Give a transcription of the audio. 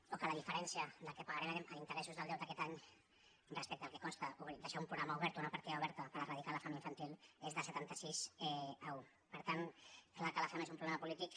o que la diferència del que pagarem en interessos del deute aquest any respecte al que costa deixar un programa obert o una partida oberta per eradicar la fam infantil és de setanta sis a un per tant clar que la fam és un problema polític